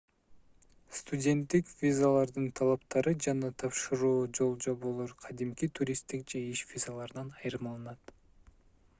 студенттик визалардын талаптары жана тапшыруу жол-жоболор кадимки туристтик же иш визаларынан айырмаланат